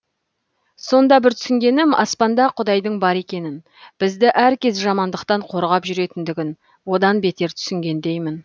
сонда бір түсінгенім аспанда құдайдың бар екенін бізді әркез жамандықтан қорғап жүретіндігін одан бетер түсінгендеймін